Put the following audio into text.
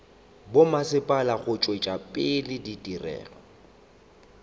bommasepala go tšwetša pele ditirelo